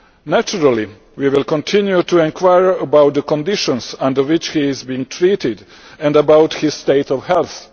Naturally we will continue to enquire about the conditions under which he is being treated and about his state of health.